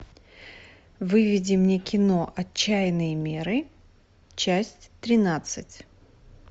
выведи мне кино отчаянные меры часть тринадцать